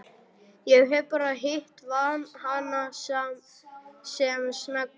Ég hef bara hitt hana sem snöggvast.